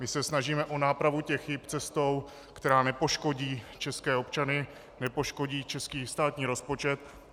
My se snažíme o nápravu těch chyb cestou, která nepoškodí českého občana, nepoškodí český státní rozpočet.